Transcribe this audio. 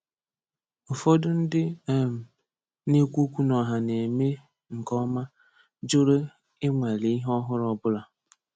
Ụfọdụ ndị um na-ekwu okwu n'ọha na-eme nke ọma jụrụ ịnwale ihe ọhụrụ ọbụla.